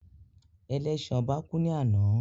Ẹlẹ́sin ọba kú ní àná